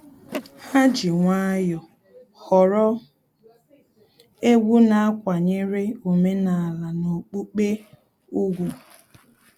Ha ji nwayọọ họrọ egwu na-akwanyere omenala na okpukpe ùgwù